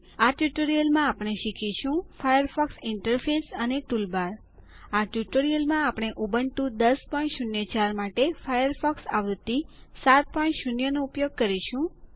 આ ટ્યુટોરીયલમાં આપણે શીખીશું ફાયરફોક્સ ઈન્ટરફેસ અને ટૂલબાર આ ટ્યુટોરીયલમાં આપણે ઉબુન્ટુ ૧૦૦૪ માટે ફાયરફોક્સ આવૃત્તિ 70 નો ઉપયોગ કરીશું